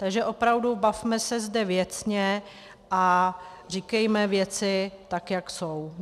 Takže opravdu bavme se zde věcně a říkejme věci tak, jak jsou.